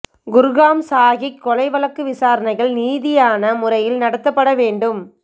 குர்ஹாம் சாக்கீ கொலை வழக்கு விசாரணைகள் நீதியான முறையில் நடத்தப்பட வேண்டும்